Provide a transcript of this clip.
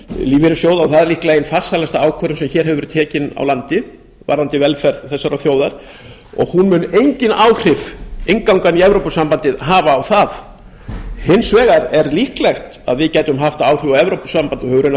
lífeyrissjóða það er líklega ein farsælust ákvarðana sem hér hefur verið tekin á landi varðandi velferð þessarar þjóðar og hún mun engin áhrif innganga í evrópusambandið hafa á það hins vegar er líklegt að við gætum haft áhrif á evrópusambandið og höfum raunar